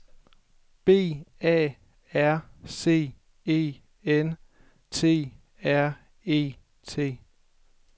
B A R C E N T R E T